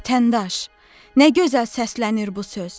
Vətəndaş, nə gözəl səslənir bu söz!